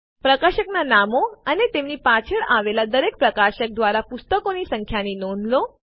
પ્રકાશકનાં નામો અને તેમની પાછળ આવેલ દરેક પ્રકાશક દ્વારા પુસ્તકોની સંખ્યાની નોંધ લો